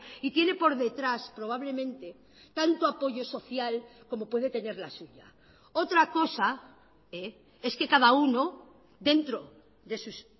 y tiene por detrás probablemente tanto apoyo social como puede tener la suya otra cosa es que cada uno dentro de sus